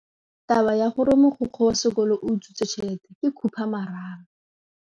Taba ya gore mogokgo wa sekolo o utswitse tšhelete ke khupamarama.